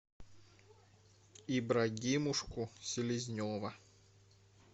ибрагимушку селезнева